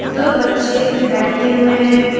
दो बच्चे बैठे हुए है।